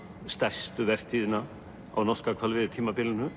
stærstu vertíðina á norska